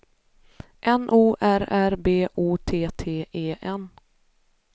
N O R R B O T T E N